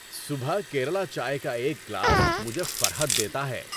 صبح کیرلا چائے کا ایک گلاس مجھے فرحت دیتا ہے۔